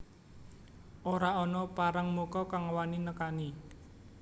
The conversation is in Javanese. Ora ana parangmuka kang wani nekani